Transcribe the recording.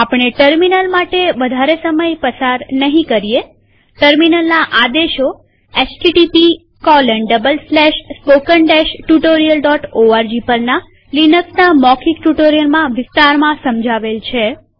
આપણે ટર્મિનલ માટે વધારે સમય પસાર નહીં કરીએટર્મિનલના આદેશો httpspoken tutorialorg પરના લિનક્સના મૌખિક ટ્યુ્ટોરીઅલમાં વિસ્તારમાં સમજાવેલ છે